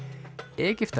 Egyptar